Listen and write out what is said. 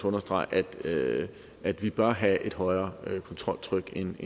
understrege at vi bør have et højere kontroltryk end